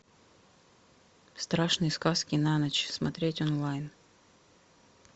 страшные сказки на ночь смотреть онлайн